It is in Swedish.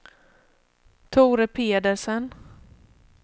Tore Pedersen